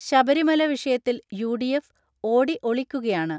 ശബരിമല വിഷയത്തിൽ യു.ഡി.എഫ് ഓടി ഒളിക്കുകയാണ്.